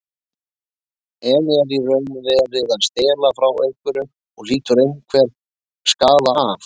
En er í raun verið að stela frá einhverjum og hlýtur einhver skaða af?